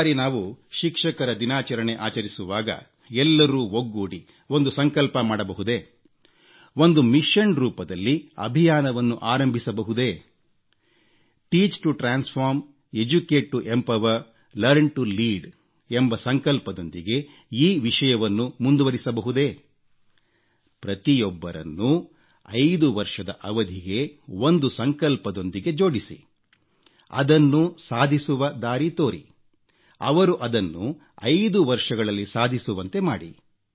ಈ ಬಾರಿ ನಾವು ಶಿಕ್ಷಕರ ದಿನಾಚರಣೆ ಆಚರಿಸುವಾಗ ಎಲ್ಲರೂ ಒಗ್ಗೂಡಿ ಒಂದು ಸಂಕಲ್ಪ ಮಾಡಬಹುದೇ ಒಂದು ಮಿಶನ್ ರೂಪದಲ್ಲಿ ಅಭಿಯಾನವನ್ನು ಆರಂಭಿಸಬಹುದೇ ಪರಿವರ್ತನೆಗಾಗಿ ಬೋಧನೆ ಸಬಲೀಕರಣಕ್ಕಾಗಿ ಶಿಕ್ಷಣ ಮುನ್ನಡೆಸಲು ಕಲಿಕೆ ಎಂಬ ಸಂಕಲ್ಪದೊಂದಿಗೆ ಈ ವಿಷಯವನ್ನು ಮುಂದುವರಿಸಬಹುದೇ ಪ್ರತಿಯೊಬ್ಬರನ್ನೂ ೫ ವರ್ಷದ ಅವಧಿಗೆ ಒಂದು ಸಂಕಲ್ಪದೊಂದಿಗೆ ಜೋಡಿಸಿ ಅದನ್ನು ಸಾಧಿಸುವ ದಾರಿ ತೋರಿ ಅವರು ಅದನ್ನು ೫ ವರ್ಷಗಳಲ್ಲಿ ಸಾಧಿಸುವಂತೆ ಮಾಡಿ